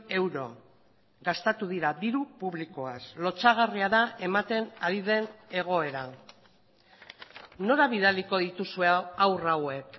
euro gastatu dira diru publikoaz lotsagarria da ematen ari den egoera nora bidaliko dituzue haur hauek